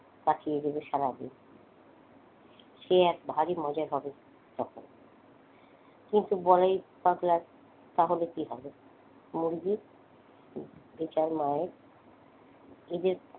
কাটিয়ে দিবে সারাদিন। সে এক ভারী মজা হবে তখন কিন্তু বলায় পাগলার তাহলে কিভাবে মুরগী বেচার মায়ের এদের,